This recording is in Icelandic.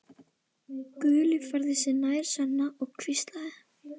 Gulli færði sig nær Svenna og hvíslaði